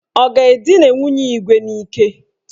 Ọ ga-edina nwunye Igwe n'ike?